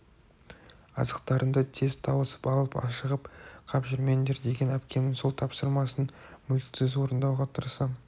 азықтарыңды тез тауысып алып ашығып қап жүрмеңдер деген әпкемнің сол тапсырмасын мүлтіксіз орындауға тырысам